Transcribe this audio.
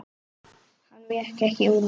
Hann vék ekki úr vegi.